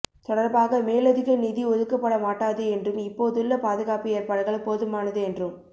தொடர்பாக மேலதிக நிதி ஒதுக்கப்படமாட்டாது என்றும் இப்போதுள்ள பாதுகாப்பு ஏற்பாடுகள் போதுமானது என்றும்